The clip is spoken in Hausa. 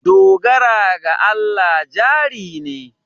Dogara ga Allah jari ne.